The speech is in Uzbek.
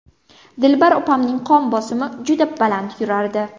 Dilbar opamning qon bosimi juda baland yurardi.